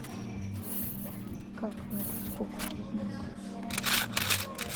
как варить кукурузную кашу